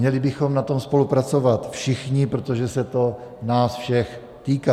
Měli bychom na tom spolupracovat všichni, protože se to nás všech týká.